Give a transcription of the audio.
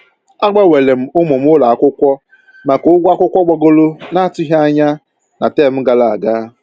A gbanweerem ụmụ m ụlọ akwụkwọ maka ụgwọ akwụkwọ gbagoro na atụghị anya na tem gara aga